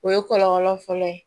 O ye kɔlɔlɔ fɔlɔ ye